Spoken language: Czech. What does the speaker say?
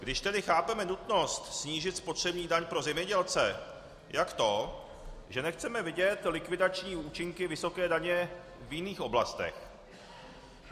Když tedy chápeme nutnost snížit spotřební daň pro zemědělce, jak to, že nechceme vidět likvidační účinky vysoké daně v jiných oblastech?